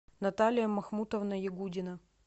наталия махмутовна ягудина